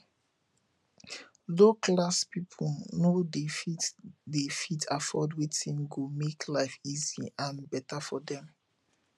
low class pipo no de fit de fit afford wetin go make life easy and better for dem